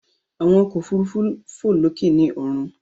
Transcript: Àwọn ọkọ òfurufú fò lókè ni ọrun.